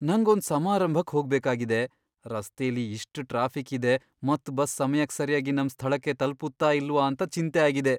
ನಂಗ್ ಒಂದ್ ಸಮಾರಂಭಕ್ ಹೋಗ್ಬೇಕಾಗಿದೆ. ರಸ್ತೆಲಿ ಇಷ್ಟ್ ಟ್ರಾಫಿಕ್ ಇದೆ ಮತ್ ಬಸ್ ಸಮ್ಯಕ್ ಸರ್ಯಾಗಿ ನಮ್ ಸ್ಥಳಕ್ಕೆ ತಲ್ಪುತ್ತ ಇಲ್ವಾ ಅಂತ ಚಿಂತೆ ಆಗಿದೆ.